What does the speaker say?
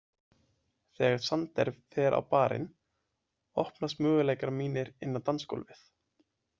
Þegar Sander fer á barinn opnast möguleikar mínir inn á dansgólfið.